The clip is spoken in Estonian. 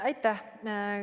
Aitäh!